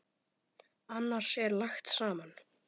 Annars er lagt saman.